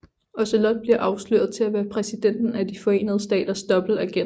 Ocelot bliver afsløret til at være Præsidenten af de forenede staters dobbeltagent